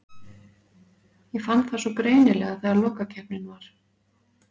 Ég fann það svo greinilega þegar lokakeppnin var.